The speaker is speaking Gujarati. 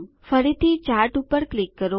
ફરીથી ચાર્ટ પર ક્લિક કરો